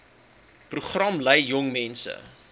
program lei jongmense